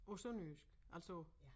På sønderjysk altså